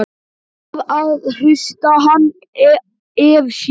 Varð að hrista hann af sér!